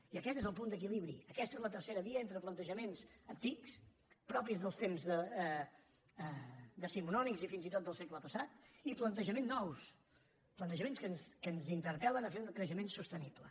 i aquest és el punt d’equilibri aquesta és la tercera via entre planejaments antics propis dels temps decimonònics i fins i tot del segle passat i plantejament nous plantejaments que ens interpel·len a fer un creixement sostenible